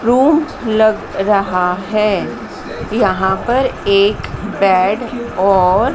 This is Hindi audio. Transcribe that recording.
रूम लग रहा है यहां पर एक बेड और--